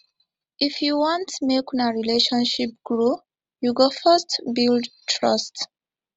if you want make una relationship grow you go first build trust